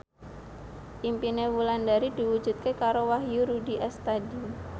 impine Wulandari diwujudke karo Wahyu Rudi Astadi